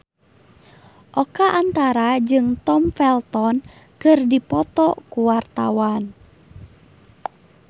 Oka Antara jeung Tom Felton keur dipoto ku wartawan